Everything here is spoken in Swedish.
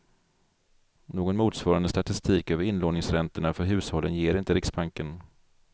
Någon motsvarande statistik över inlåningsräntorna för hushållen ger inte riksbanken.